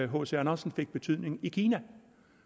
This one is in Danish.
hc andersen fik betydning i kina